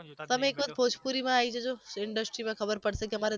તમે એક વખત ભોજપુરીમાં આઈ જજો ને industry માં ખબર પડશે કે મારે